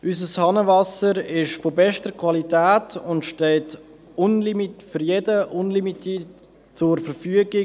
Unser Hahnenwasser ist von bester Qualität und steht für jeden unlimitiert zur Verfügung.